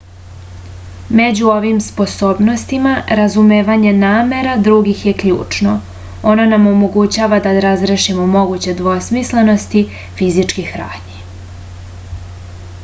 među ovim sposobnostima razumevanje namera drugih je ključno ono nam omogućava da razrešimo moguće dvosmislenosti fizičkih radnji